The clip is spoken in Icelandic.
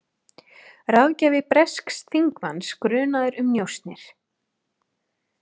Ráðgjafi bresks þingmanns grunaður um njósnir